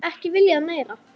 Ekki viljað meira.